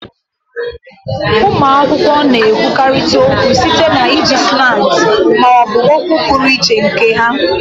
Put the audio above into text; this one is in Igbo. Ụmụ akwụkwọ na-ekwurịtakarị okwu site na iji slangs ma ọ bụ okwu pụrụ iche nke ha